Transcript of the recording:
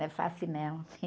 Não é fácil, não.